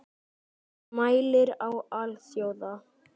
Hann mælir á alþjóða